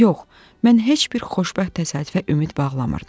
Yox, mən heç bir xoşbəxt təsadüfə ümid bağlamırdım.